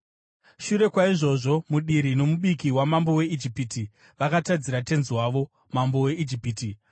Shure kwaizvozvo, mudiri nomubiki wamambo weIjipiti vakatadzira tenzi wavo, mambo weIjipiti.